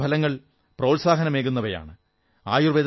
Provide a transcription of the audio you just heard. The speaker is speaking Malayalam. ഇതുവരെ ലഭിച്ച ഫലങ്ങൾ പ്രോത്സാഹനമേകുന്നവയാണ്